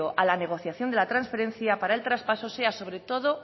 a la negociación de la transferencia para el traspaso sea sobre todo